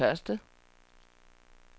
første